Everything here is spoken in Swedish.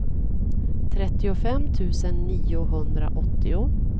trettiofem tusen niohundraåttio